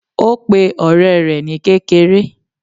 Ó pe òré rè ni kékeré